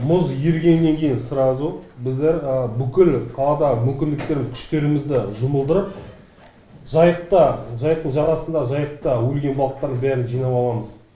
мұз ерігеннен кейін сразу біздер бүкіл қаладағы мүмкіндіктерді күштерімізді жұмылдырып жайықта жайықтың жағасында жайықта өлген балықтардың бәрін жинап аламыз